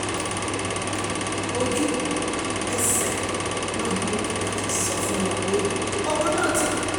ojú-ẹsẹ̀ náà ni dókítà sì ti sọ fún wọn pé ọmọ náà ti kú